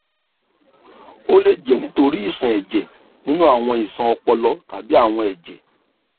o le jẹ nitori iṣan ẹjẹ ninu awọn iṣan ọpọlọ tabi awọn ẹjẹ